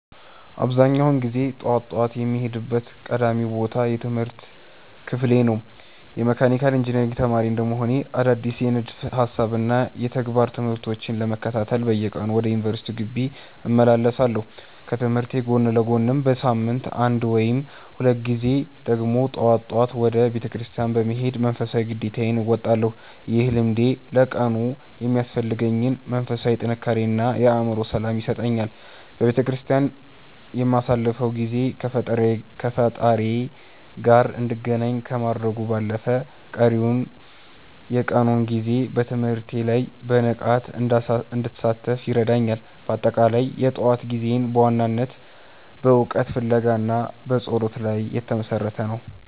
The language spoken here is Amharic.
አብዛኛውን ጊዜ ጠዋት ጠዋት የምሄድበት ቀዳሚው ቦታ የትምህርት ክፍሌ ነው። የመካኒካል ኢንጂነሪንግ ተማሪ እንደመሆኔ፣ አዳዲስ የንድፈ ሃሳብና የተግባር ትምህርቶችን ለመከታተል በየቀኑ ወደ ዩኒቨርሲቲው ግቢ እመላለሳለሁ። ከትምህርቴ ጎን ለጎንም በሳምንት አንድ ወይም ሁለት ጊዜ ደግሞ ጠዋት ጠዋት ወደ ቤተክርስቲያን በመሄድ መንፈሳዊ ግዴታዬን እወጣለሁ። ይህ ልምዴ ለቀኑ የሚያስፈልገኝን መንፈሳዊ ጥንካሬ እና የአእምሮ ሰላም ይሰጠኛል። በቤተክርስቲያን የማሳልፈው ጊዜ ከፈጣሪዬ ጋር እንድገናኝ ከማድረጉም ባለፈ፣ ቀሪውን የቀኑን ጊዜ በትምህርቴ ላይ በንቃት እንድሳተፍ ይረዳኛል። በአጠቃላይ፣ የጠዋት ጊዜዬ በዋናነት በእውቀት ፍለጋ እና በጸሎት ላይ የተመሰረተ ነው።